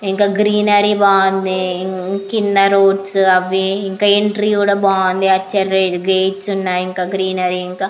ఇంకా గ్రీనరీ బాగుంది కింద రోడ్స్ అవి ఎంట్రీ కూడా బాగుంది అటు సైడ్ గేట్స్ ఉన్నాయి గ్రీనరీ ఇంకా --